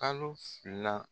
Kalo fila.